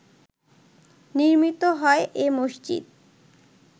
নির্মিত হয় এ মসজিদ